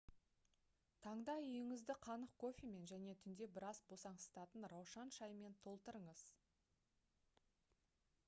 таңда үйіңізді қанық кофемен және түнде біраз босаңсытатын раушан шайымен толтырыңыз